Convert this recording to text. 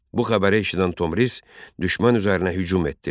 Bu xəbəri eşidən Tomris düşmən üzərinə hücum etdi.